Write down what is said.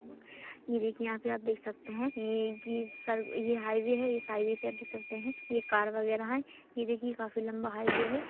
ये देखिये यहाँ पे आप देख सकते है ये की --सर ये हाइवै है इस हाइवै पे आप देख सकते है ए कार वग़ैरा हैं ये देखिए काफी लंबा हाइवै है ।